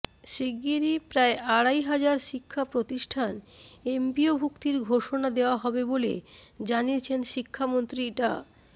শিগগিরই প্রায় আড়াই হাজার শিক্ষাপ্রতিষ্ঠান এমপিওভুক্তির ঘোষণা দেওয়া হবে বলে জানিয়েছেন শিক্ষামন্ত্রী ডা